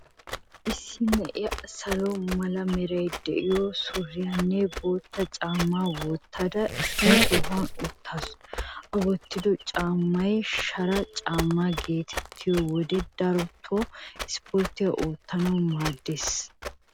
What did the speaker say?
Issi na'iyaa salo mala meray de'iyoo suriyaanne bootta caammaa wottada issi sohuwan uttaasu.A wottido caammay shara caammaa geetettiyoo wide, darotoo ispporttiyaa oottanawu maaddees.